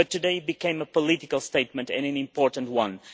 world. Today it has become a political statement, and an important